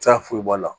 Ti taa foyi bɔ a la